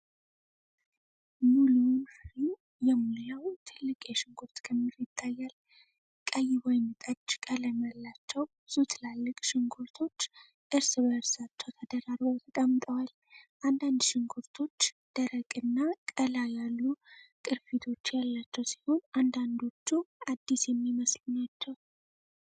ሙሉውን ፍሬም የሞላው ትልቅ የሽንኩርት ክምር ይታያል። ቀይ ወይንጠጅ ቀለም ያላቸው ብዙ ትላልቅ ሽንኩርቶች እርስ በእርሳቸው ተደራርበው ተቀምጠዋል። አንዳንድ ሽንኩርቶች ደረቅና ቀላ ያሉ ቅርፊቶች ያላቸው ሲሆን፣ አንዳንዶቹ አዲስ የሚመስሉ ናቸው።